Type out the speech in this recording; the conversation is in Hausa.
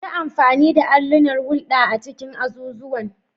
Yi amfani da allunan hulɗa a cikin azuzuwan.